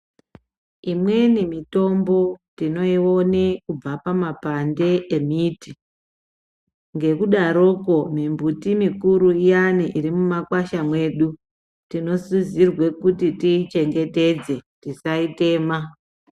Imweni mitombo tinoione kubva pamapande embiti ngekudaroko mimbuti mukuru iyani iri mumakwasha mwedu tinosisirwe kuti tichengetedze tisaitema.